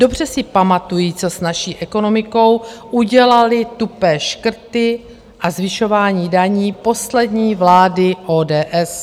Dobře si pamatují, co s naší ekonomikou udělaly tupé škrty a zvyšování daní poslední vlády ODS.